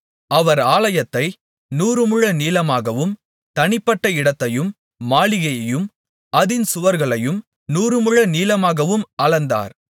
அவர் ஆலயத்தை நூறு முழ நீளமாகவும் தனிப்பட்ட இடத்தையும் மாளிகையையும் அதின் சுவர்களையும் நூறு முழ நீளமாகவும் அளந்தார்